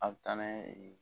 A be taa n'an ye